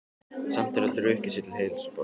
Samt er það drukkið sér til heilsubótar.